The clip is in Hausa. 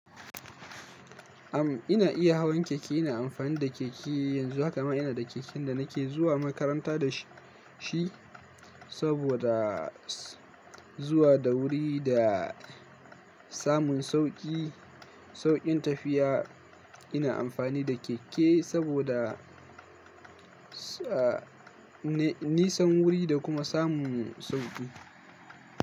Am, ina iya hawan keke, ina amfani da keke yanzu, haka ma ina da keken da nake zuwa makaranta da shi saboda zuwa da wuri da samun sauƙi, sauƙin tafiya. Ina amfani da keke saboda, da-nisan wuri da kuma samun sauƙi.